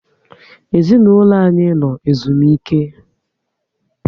Ezinaụlọ anyị no ezumike